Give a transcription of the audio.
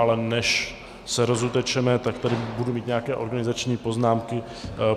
Ale než se rozutečeme, tak tady budu mít nějaké organizační poznámky.